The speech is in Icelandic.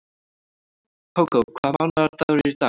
Kókó, hvaða mánaðardagur er í dag?